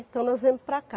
Então nós viemos para cá.